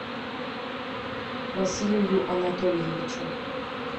василию анатольевичу